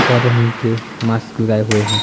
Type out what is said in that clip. और रंग के मास्क लगाए हुए हैं।